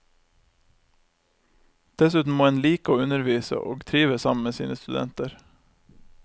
Dessuten må en like å undervise, og trives sammen sine studenter.